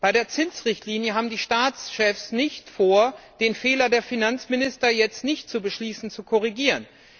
Bei der Zinsrichtlinie haben die Staatschefs nicht vor, den Fehler der Finanzminister, jetzt nicht zu beschließen, zu korrigieren.